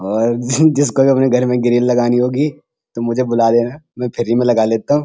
और जी जिसको भी अपने घर में ग्रिल लगानी होगी तो मुझे बुला लेना मैं फ्री में लगा लेता हूँ।